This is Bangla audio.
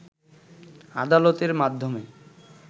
আদালতের মাধ্যমে